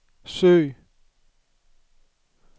søg